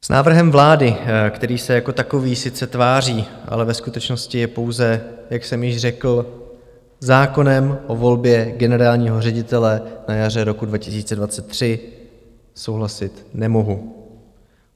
S návrhem vlády, který se jako takový sice tváří, ale ve skutečnosti je pouze, jak jsem již řekl, zákonem o volbě generálního ředitele na jaře roku 2023, souhlasit nemohu.